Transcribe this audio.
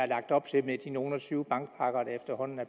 lagt op til med de nogle og tyve bankpakker der efterhånden er